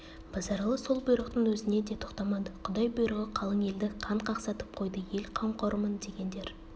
базаралы сол бұйрықтың өзіне де тоқтамады құдай бұйрығы қалың елді қан қақсатып қойды ел қамқорымын дегендер